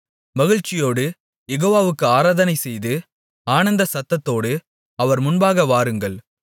மகிழ்ச்சியோடு யெகோவாவுக்கு ஆராதனைசெய்து ஆனந்தசத்தத்தோடு அவர் முன்பாக வாருங்கள்